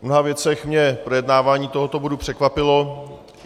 V mnoha věcech mě projednávání tohoto bodu překvapilo.